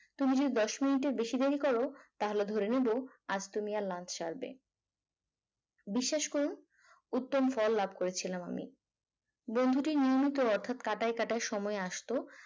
তুমি যদি দশ minute এর বেশি দেরি করো তাহলে ধরে নেব আজ তুমি আর lunch সারবে বিশ্বাস করুন উত্তম ফল লাভ করেছিলাম আমি বন্ধুটি নিয়মিত অর্থাৎ কাঁটায় কাঁটায় সময় এ আসতো।